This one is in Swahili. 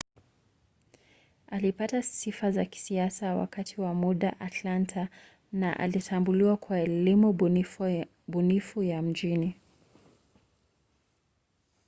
alipata sifa za kisiasa wakati wa muda wake atlanta na alitambuliwa kwa elimu bunifu ya mjini